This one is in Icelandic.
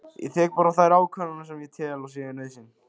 Ég tek bara þær ákvarðanir sem ég tel að séu nauðsyn